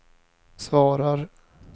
svarar